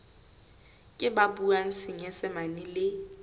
ke ba buang senyesemane le